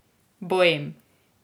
Boem.